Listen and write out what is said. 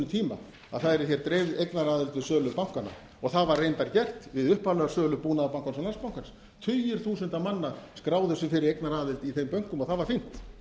tíma að það yrði hér dreifð eignaraðild við sölu bankanna og það var reyndar gert við upphaflega sölu búnaðarbankans og landsbankans tugir þúsunda manna skráðu sig fyrir eignaraðild í þeim bönkum og það var fínt